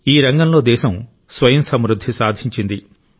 ఈ రంగంలో దేశం స్వయం సమృద్ధి సాధించింది